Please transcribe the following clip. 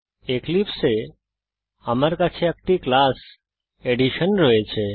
এক্লিপসে এ আমার কাছে একটি ক্লাস অ্যাডিশন রয়েছে